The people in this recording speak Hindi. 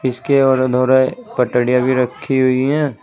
उसके और अधूरे पटरिया भी रखी हुई हैं।